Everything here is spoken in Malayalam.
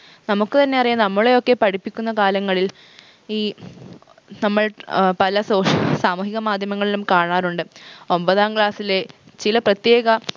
നമുക്ക് തന്നെയറിയാം നമ്മളെയൊക്കെ പഠിപ്പിക്കുന്ന കാലങ്ങളിൽ ഈ നമ്മൾ നമ്മൾ ഏർ പല social സാമൂഹിക മാധ്യമങ്ങളിലും കാണാറുണ്ട് ഒമ്പതാം class ലെ ചില പ്രത്യേക